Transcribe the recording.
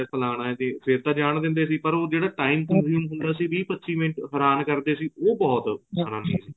ਫਲਾਨਾ ਹੈ ਜੀ ਫੇਰ ਤਾ ਜਾਣ ਦਿੰਦੇ ਸੀ ਪਰ ਉਹ ਜਿਹੜਾ time consume ਹੁੰਦਾ ਸੀ ਵੀਹ ਪੱਚੀ ਮਿੰਟ ਹੈਰਾਨ ਕਰਦੇ ਸੀ ਉਹ ਬਹੁਤ ਹੈਰਾਨੀ ਸੀ